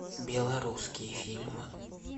белорусские фильмы